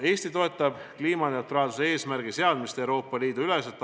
" Eesti toetab kliimaneutraalsuse eesmärgi seadmist Euroopa Liidu üleselt.